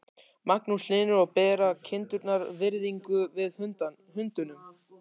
Magnús Hlynur: Og bera kindurnar virðingu fyrir hundunum?